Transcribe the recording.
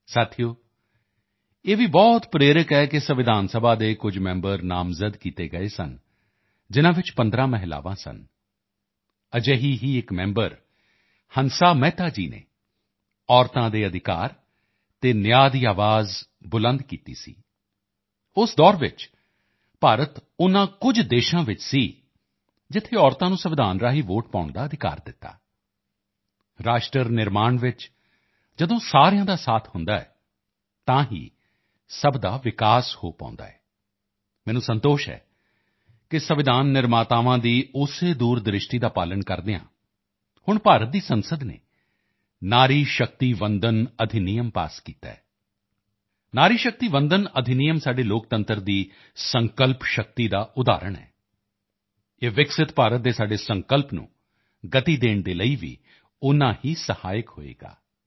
ਸਾਥੀਓ ਇਹ ਭੀ ਬਹੁਤ ਪ੍ਰੇਰਕ ਹੈ ਕਿ ਸੰਵਿਧਾਨ ਸਭਾ ਦੇ ਕੁਝ ਮੈਂਬਰ ਨਾਮਜ਼ਦ ਕੀਤੇ ਗਏ ਸਨ ਜਿਨ੍ਹਾਂ ਵਿੱਚੋਂ 15 ਮਹਿਲਾਵਾਂ ਸਨ ਅਜਿਹੀ ਹੀ ਇੱਕ ਮੈਂਬਰ ਹੰਸਾ ਮਹਿਤਾ ਜੀ ਨੇ ਮਹਿਲਾਵਾਂ ਦੇ ਅਧਿਕਾਰ ਅਤੇ ਨਿਆਂ ਦੀ ਆਵਾਜ਼ ਬੁਲੰਦ ਕੀਤੀ ਸੀ ਉਸ ਦੌਰ ਵਿੱਚ ਭਾਰਤ ਉਨ੍ਹਾਂ ਕੁਝ ਦੇਸ਼ਾਂ ਵਿੱਚ ਸੀ ਜਿੱਥੇ ਮਹਿਲਾਵਾਂ ਨੂੰ ਸੰਵਿਧਾਨ ਰਾਹੀਂ ਵੋਟਿੰਗ ਦਾ ਅਧਿਕਾਰ ਦਿੱਤਾ ਰਾਸ਼ਟਰ ਨਿਰਮਾਣ ਵਿੱਚ ਜਦੋਂ ਸਬਕਾ ਸਾਥ ਹੁੰਦਾ ਹੈ ਤਦ ਸਬਕਾ ਵਿਕਾਸ ਭੀ ਹੋ ਪਾਉਂਦਾ ਹੈ ਮੈਨੂੰ ਸੰਤੋਸ਼ ਹੈ ਕਿ ਸੰਵਿਧਾਨ ਨਿਰਮਾਤਾਵਾਂ ਦੀ ਉਸੇ ਦੂਰਦ੍ਰਿਸ਼ਟੀ ਦਾ ਪਾਲਣ ਕਰਦੇ ਹੋਏ ਹੁਣ ਭਾਰਤ ਦੀ ਸੰਸਦ ਨੇ ਨਾਰੀ ਸ਼ਕਤੀ ਵੰਦਨ ਅਧਿਨਿਯਮ ਨੂੰ ਪਾਸ ਕੀਤਾ ਹੈ ਨਾਰੀ ਸ਼ਕਤੀ ਵੰਦਨ ਅਧਿਨਿਯਮ ਸਾਡੇ ਲੋਕਤੰਤਰ ਦੀ ਸੰਕਲਪ ਸ਼ਕਤੀ ਦਾ ਉਦਾਹਰਣ ਹੈ ਇਹ ਵਿਕਸਿਤ ਭਾਰਤ ਦੇ ਸਾਡੇ ਸੰਕਲਪ ਨੂੰ ਗਤੀ ਦੇਣ ਦੇ ਲਈ ਵੀ ਉਤਨਾ ਹੀ ਸਹਾਇਕ ਹੋਵੇਗਾ